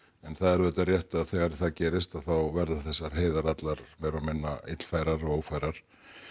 en það er auðvitað rétt að þegar það gerist að verða þessar heiðar allar meira og minna illfærar og ófærar